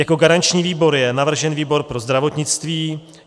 Jako garanční výbor je navržen výbor pro zdravotnictví.